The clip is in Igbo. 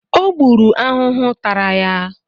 Ọ gbụrụ ahụhụ tara ya